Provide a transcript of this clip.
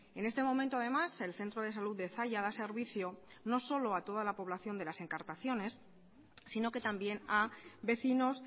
en este momento además el centro de salud de zalla da servicio no solo a toda la población de las encartaciones sino que también a vecinos